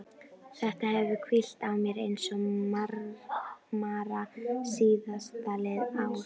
Þetta hefur hvílt á mér eins og mara síðastliðið ár.